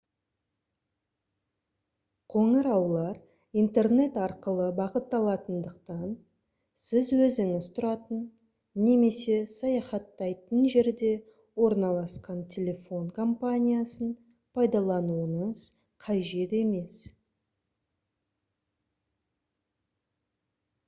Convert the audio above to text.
қоңыраулар интернет арқылы бағытталатындықтан сіз өзіңіз тұратын немесе саяхаттайтын жерде орналасқан телефон компаниясын пайдалануыңыз қажет емес